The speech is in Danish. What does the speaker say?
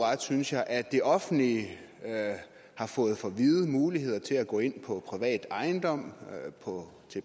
synes jeg at det offentlige har fået for vide muligheder til at gå ind på privat ejendom på